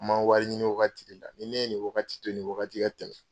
N man wari ɲini wagati de la. Ni ne ye nin wagati in, nin wagati ka tɛmɛ